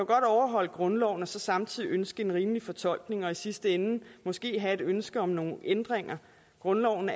godt overholde grundloven og samtidig ønske en rimelig fortolkning og i sidste ende måske have et ønske om nogle ændringer grundloven